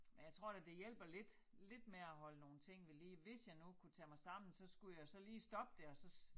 Men jeg tror da det hjælper lidt lidt med at holde nogle ting ved lige. Hvis jeg nu kunne tage mig sammen så skulle jeg så lige stoppe det og så